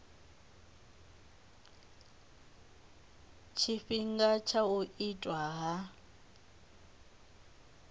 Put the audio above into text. tshifhinga tsha u itwa ha